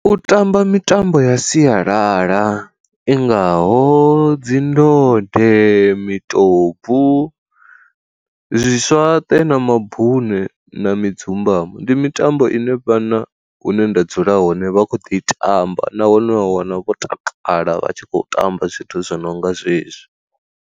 U tamba mitambo ya sialala i ngaho dzi ndode, mitopu, zwi swaṱe na mabune na mudzumbamo. Ndi mitambo ine vhana hune nda dzula hone vha kho ḓi tamba nahone wa wana vho takala vha tshi khou tamba zwithu zwo no nga zwezwi.